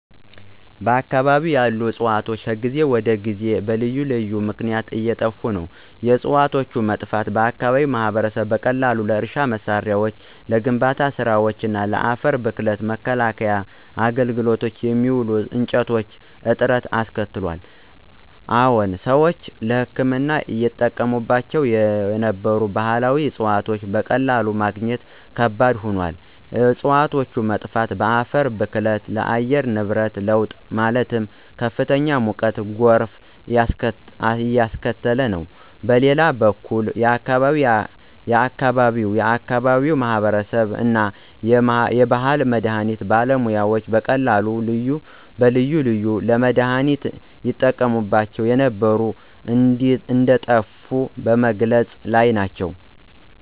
በአከባቢው ያሉ ዕፅዋት ከጊዜ ወደ ጊዜ በልዩ ልዩ ምክነያት እየጠፋ ነው። የዕፅዋቶቹ መጥፋት በአከባቢው ማህበረሰብ በቀላሉ ለእርሻ መሳሪያዎች፣ ለግንባታ ስራወች፣ ለአፈር ብክለት መከላከያ አገልግሎት የሚውሉ እንጨቶች እጥረት አስከትሏል። አዎን ሰዎች ለህክምና ይጠቀሙባቸው የነበሩ ባህላዊ ዕፅዋቶች በቀላሉ ማግኘት ከባድ ሆኗል። የእፅዋቶች መጥፋት በአፈር ብክለት፣ በአየር ንብረት ለውጥ ማለትም ከፍተኛ ሙቀትና ጎርፍ እያስከተለ ነው። በሌላ በኩል የአከባቢው የአከባቢው ማህበረሰብ እና የባህል መድሀኒት ባለሙያዎች በቀላሉ ልዩ ልዩ ለመድሃኒነት ይጠቀሙ የነበሩ እንደጠፉ በመግለፅ ላይ ናቸው።